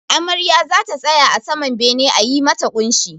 Amarya zata tsaya a saman bene a yi mata ƙunshi